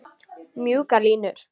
Mjúkar línur.